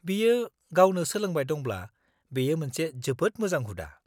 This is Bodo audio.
-बियो गावनो सोलोंबाय दंब्ला बेयो मोनसे जोबोद मोजां हुदा।